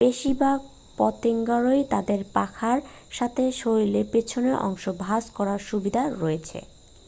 বেশিরভাগ পতঙ্গেরই তাদের পাখার সাথে শরীরের পেছনের অংশ ভাঁজ করার সুবিধা রয়েছে